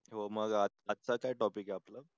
हो मग आजचा काय टॉपिक आहे आपला?